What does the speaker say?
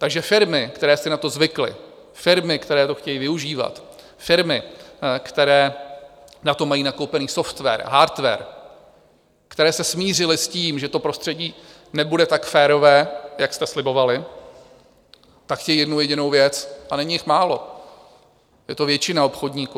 Takže firmy, které si na to zvykly, firmy, které to chtějí využívat, firmy, které na to mají nakoupený software, hardware, které se smířily s tím, že to prostředí nebude tak férové, jak jste slibovali, tak chtějí jednu jedinou věc - a není jich málo, je to většina obchodníků.